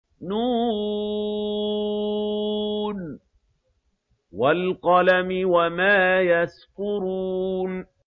ن ۚ وَالْقَلَمِ وَمَا يَسْطُرُونَ